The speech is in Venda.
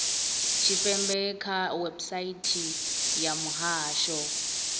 tshipembe kha website ya muhasho